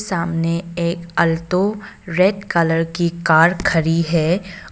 सामने एक Alto red colour की कार खड़ी है।